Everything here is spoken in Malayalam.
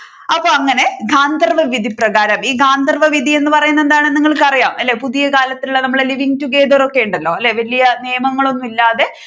അപ്പോ അങ്ങനെ ഗാന്ധർവ്വ വിധിപ്രകാരം ഈ ഗാന്ധർവ വിധി എന്ന് പറയുന്നത് എന്താണ് നിങ്ങൾക്ക് അറിയാം പുതിയകാലത്ത് നമ്മുടെ living together ഒക്കെ ഉണ്ടല്ലോ വലിയ നിയമങ്ങൾ ഒന്നുമില്ലാതെ